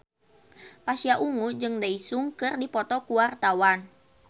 Pasha Ungu jeung Daesung keur dipoto ku wartawan